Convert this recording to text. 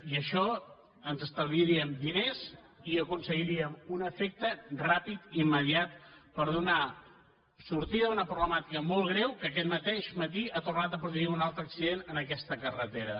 i això ens estalviaríem diners i aconseguiríem un efecte ràpid immediat per donar sortida a una problemàtica molt greu que aquest mateix matí ha tornat a produir un altre accident en aquesta carretera